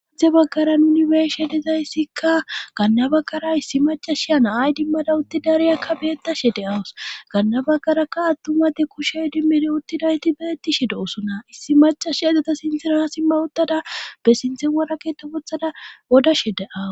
Adze baggaran unibershe dizayssikka ganna baggara issi macashia naay dimmada utti dariyakka beettashe de awus ganna baggarakka attumade kushey dimmiri uttinayti beettishi doosona issi macash edeta sintiraa simma ottada be sinthe waraketabothada wodashe deaw.